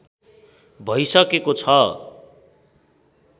भइसकेको छ